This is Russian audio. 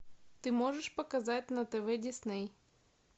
ты можешь показать на тв дисней